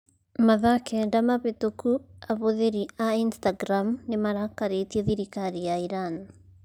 Mathaa kenda mahĩtũku ahũthĩri a Instagram nĩ marakarĩtie thirikari ya Iran.